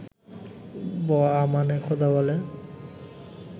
ব-আমানে খোদা বলে